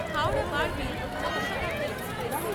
Howrah Barbil Janshatabdi express